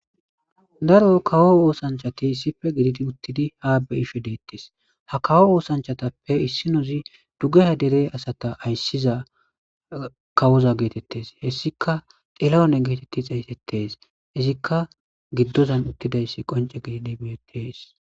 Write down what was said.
Daro kawo oosanchati issippe gelidi uttidi haa be7ishe deetes.ha kawo oosanchatappe issinozi dugeha tophiya dere asata ayssizakawoza geetettees.izikkka xilahune geetetti xeysettees.izikkagiddozan eqqidayssi qoncidi beettishe de7ees.